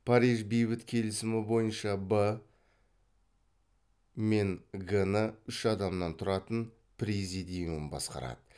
париж бейбіт келісімі бойынша б мен г ны үш адамнан тұратын президиум басқарады